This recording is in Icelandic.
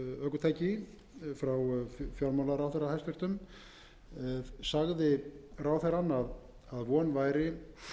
umræðum í gær um vörugjald á ökutæki frá hæstvirtum fjármálaráðherra sagði ráðherrann að von væri